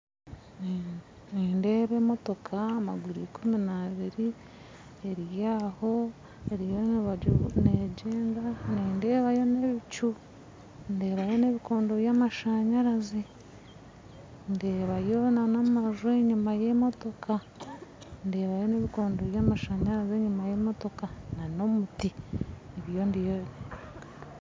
Nindeeba emotoka maguru ikumi n'abiri eri aho erimu negyenda nindeebayo n'ebicu ndeebayo n'ebikondo by'amashanyarazi ndeebayo na n'amaju enyuma y'emotoka ndeebayo n'ebikondo by'amashanyarazi enyuma y'emotoka n'omuti nibyo ndikureeba